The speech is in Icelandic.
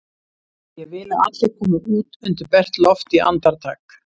Ég vil að allir komi út undir bert loft í andartak!